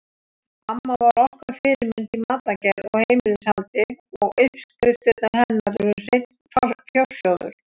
Amma var okkar fyrirmynd í matargerð og heimilishaldi og uppskriftirnar hennar eru hreinn fjársjóður.